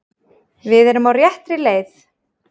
Við erum á réttri leið